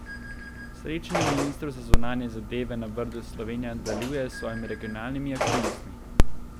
S srečanjem ministrov za zunanje zadeve na Brdu Slovenija nadaljuje s svojimi regionalnimi aktivnostmi.